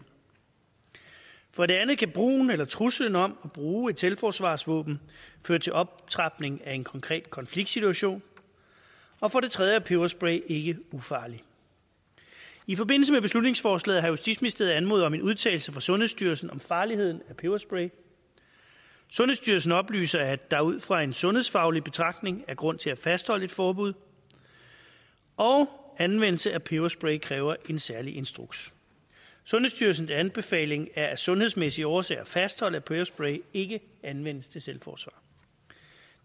for det andet kan brugen eller truslen om at bruge et selvforsvarsvåben føre til optrapning af en konkret konfliktsituation og for det tredje er peberspray ikke ufarlig i forbindelse med beslutningsforslaget har justitsministeriet anmodet om en udtalelse fra sundhedsstyrelsen om farligheden af peberspray sundhedsstyrelsen oplyser at der ud fra en sundhedsfaglig betragtning er grund til at fastholde et forbud og at anvendelse af peberspray kræver en særlig instruks sundhedsstyrelsens anbefaling er af sundhedsmæssige årsager at fastholde at peberspray ikke anvendes til selvforsvar